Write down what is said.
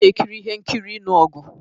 Ọn a-ekiri ihe nkiri ịnụ ọgụ.